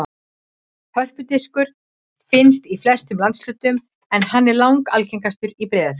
Hörpudiskur finnst í flestum landshlutum en hann er langalgengastur í Breiðafirði.